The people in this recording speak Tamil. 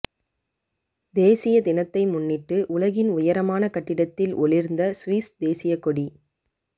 தேசிய தினத்தை முன்னிட்டு உலகின் உயரமான கட்டிடத்தில் ஒளிர்ந்த சுவிஸ் தேசிய கொடி